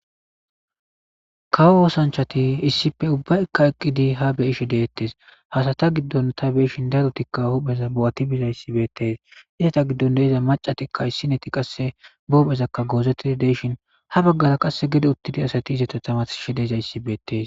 kawo oosanchati issippe ubba ikka eqqidi ha beyishe deettes hasata giddon ta beishin darotikka hupheza bo7ati bizayssi beetes izata giddon deiza macatikka issineti qasse boophezakka goozetida deyshin ha baggara qasse gede uttidi asati izata tamashe deezayssi beetees